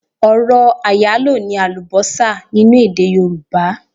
Ọ̀rọ̀ àyálò ni àùbọ́sà nínú èdè yorùbá.